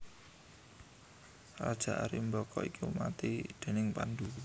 Raja Arimbaka iki mati déning Pandhu